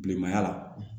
Bilenmanya la